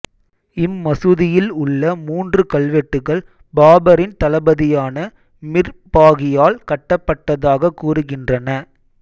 இம்மசூதியில் உள்ள மூன்று கல்வெட்டுகள் பாபரின் தளபதியான மிர் பாகியால் கட்டப்பட்டதாக கூறுகின்றன